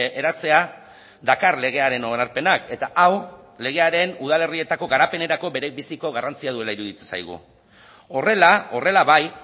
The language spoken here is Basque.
eratzea dakar legearen onarpenak eta hau legearen udalerrietako garapenerako berebiziko garrantzia duela iruditzen zaigu horrela horrela bai